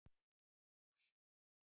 Úrsúla